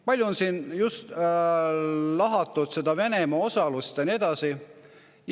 Palju on siin lahatud seda Venemaa osalust ja nii edasi.